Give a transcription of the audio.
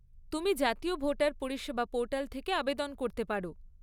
তুমি জাতীয় ভোটার পরিষেবা পোর্টাল থেকে আবেদন করতে পারো।